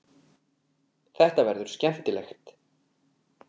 Þetta verður skemmtilegt.